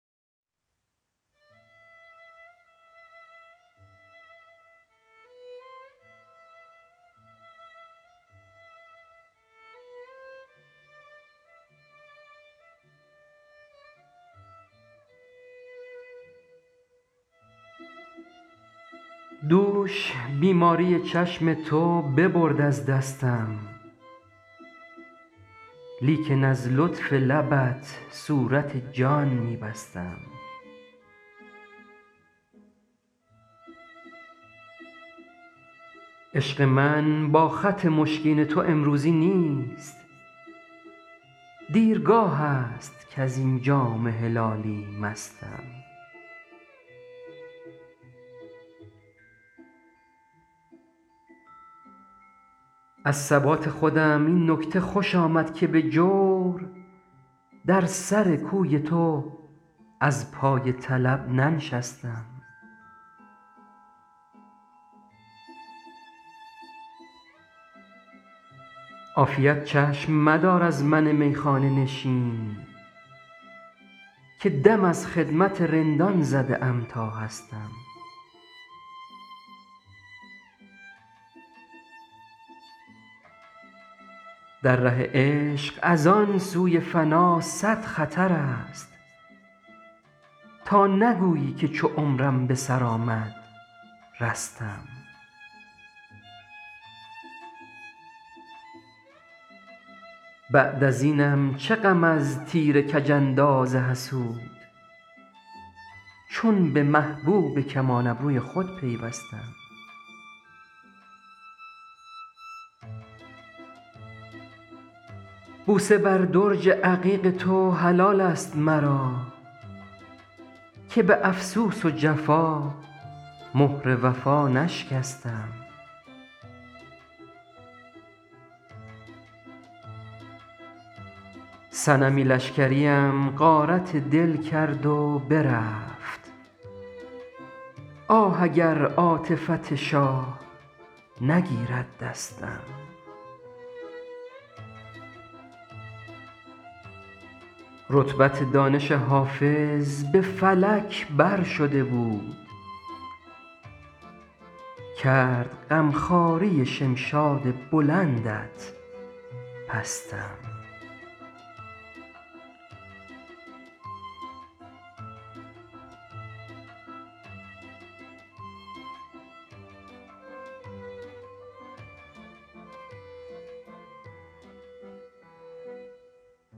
دوش بیماری چشم تو ببرد از دستم لیکن از لطف لبت صورت جان می بستم عشق من با خط مشکین تو امروزی نیست دیرگاه است کز این جام هلالی مستم از ثبات خودم این نکته خوش آمد که به جور در سر کوی تو از پای طلب ننشستم عافیت چشم مدار از من میخانه نشین که دم از خدمت رندان زده ام تا هستم در ره عشق از آن سوی فنا صد خطر است تا نگویی که چو عمرم به سر آمد رستم بعد از اینم چه غم از تیر کج انداز حسود چون به محبوب کمان ابروی خود پیوستم بوسه بر درج عقیق تو حلال است مرا که به افسوس و جفا مهر وفا نشکستم صنمی لشکریم غارت دل کرد و برفت آه اگر عاطفت شاه نگیرد دستم رتبت دانش حافظ به فلک بر شده بود کرد غم خواری شمشاد بلندت پستم